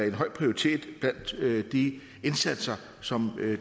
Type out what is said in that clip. en høj prioritet blandt de indsatser som